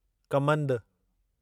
कमंदु